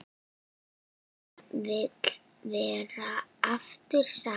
Að við verðum aftur saman.